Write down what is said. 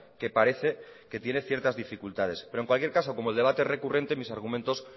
que parece que tiene ciertas dificultades pero en cualquier caso como el debate es recurrente mis argumentos